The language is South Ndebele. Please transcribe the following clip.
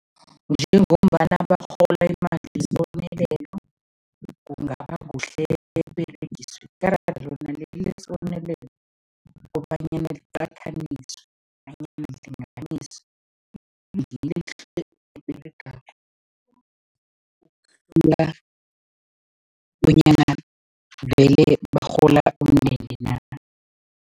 Njengombana barhola imali yesibonelelo, kungaba kuhle lona leli lesibonelelo kobanyana liqathaniswe nanyana lilinganiswe eberegako bonyana vele barhola umndende na.